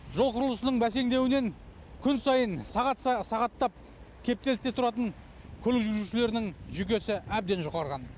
жол құрылысының бәсеңдеуінен күн сайын сағат сағаттап кептелісте тұратын көлік жүргізушілердің жүйкесі әбден жұқарған